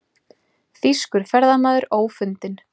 Þýskur ferðamaður ófundinn